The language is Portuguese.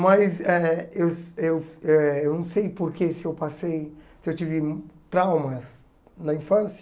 Mas eh eu eu eh eu não sei por que se eu passei, se eu tive traumas na infância.